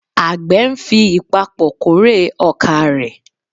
Àgbẹ̀ ń fi ìpapọ̀ kórè ọkà rẹ̀.